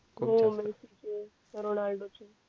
Ronaldo चे